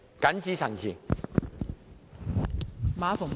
謹此陳辭。